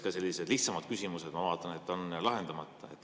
Ka sellised lihtsamad küsimused, ma vaatan, on lahendamata.